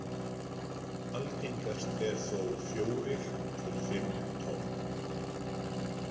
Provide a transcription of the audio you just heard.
Algengast er þó fjórir til fimm tonn.